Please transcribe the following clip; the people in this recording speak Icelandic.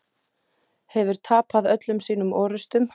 Hefur tapað öllum sínum orrustum.